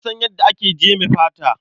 Na san yadda ake jeme fata.